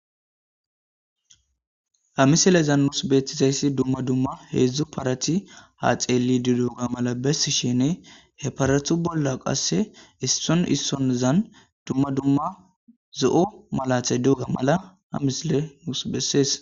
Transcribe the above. Ha misilezan nus beetizayssi dumma dumma heedzdzu parati ha xeeli diduga mala bessi shene he paratu bolla qasse isson issonzan dumma dumma zo7o malatha doga mala amisile nuus bessees